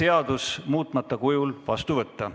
seadus muutmata kujul vastu võtta.